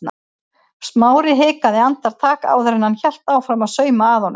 Smári hikaði andartak áður en hann hélt áfram að sauma að honum.